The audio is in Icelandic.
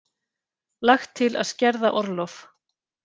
Lagt til að skerða orlof